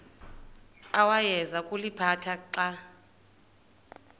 awayeza kuliphatha xa